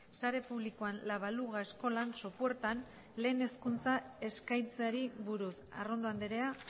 sare publikoan la baluga eskolan sopuertan lehen hezkuntza eskaintzeari buruz arrondo andrea